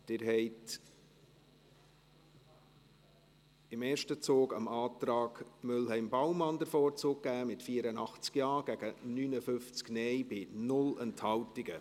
Sie haben im ersten Zug dem Antrag Mühlheim/Baumann den Vorzug gegeben, mit 84 Ja- gegen 59 Nein-Stimmen bei 0 Enthaltungen.